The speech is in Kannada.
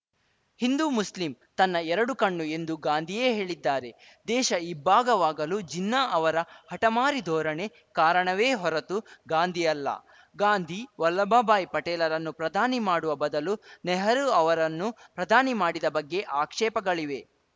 ಹಿಂದೂಮುಸ್ಲಿಮ್‌ ತನ್ನ ಎರಡು ಕಣ್ಣು ಎಂದು ಗಾಂಧಿಯೇ ಹೇಳಿದ್ದಾರೆ ದೇಶ ಇಬ್ಭಾಗವಾಗಲು ಜಿನ್ನಾ ಅವರ ಹಠಮಾರಿ ಧೋರಣೆ ಕಾರಣವೇ ಹೊರತು ಗಾಂಧಿ ಅಲ್ಲ ಗಾಂಧಿ ವಲ್ಲಭಬಾಯಿ ಪಟೇಲರನ್ನು ಪ್ರಧಾನಿ ಮಾಡುವ ಬದಲು ನೆಹರೂ ಅವರನ್ನು ಪ್ರಧಾನಿ ಮಾಡಿದ ಬಗ್ಗೆ ಆಕ್ಷೇಪಗಳಿವೆ